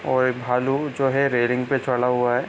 और एक भालू जो है रेलिंग पे चढ़ा हुआ है।